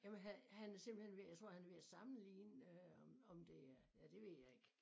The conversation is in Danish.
Jamen han han er simpelthen ved jeg tror han er ved at sammenligne øh om om det er ja det ved jeg ikke